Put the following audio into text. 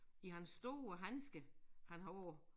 I hans store handsker han har på